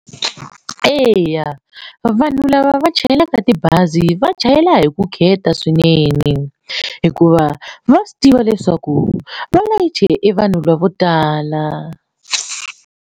Eya vanhu lava va chayelaka tibazi va chayela hi vukheta swinene hikuva va swi tiva leswaku va layiche e vanhu lavo tala.